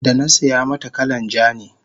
danasiya mata kalan ja ne